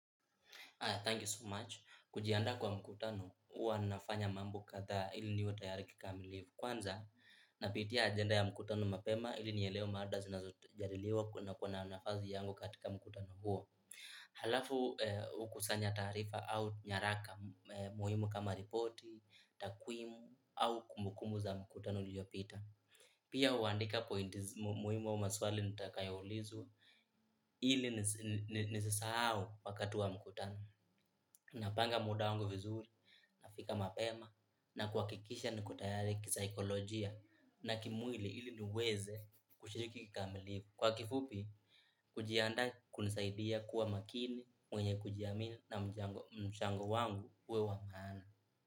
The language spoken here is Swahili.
Thank you so much. Kujianda kwa mkutano, huwa nafanya mambo katha ili niwe tayari kikamilifu. Kwanza, napitia agenda ya mkutano mapema ili nielewe mada zinazojadiliwa kuna kuna nafasi yangu katika mkutano huo. Halafu hukusanya taarifa au nyaraka muhimu kama ripoti, takwimu au kumbukumbu za mkutano uliopita. Pia huandika pointi muhimu au maswali nitakayoulizwa ili nisisahau wakati wa mkutano. Napanga muda wangu vizuri nafika mapema na kuhakikisha niko tayari kisaikolojia na kimwili ili niweze kushiriki kikamilifu kwa kifupi kujiandaa kunanisaidia kuwa makini mwenye kujiamini na mchango wangu uwe wa maana.